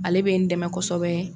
Ale bɛ n dɛmɛ kosɛbɛ.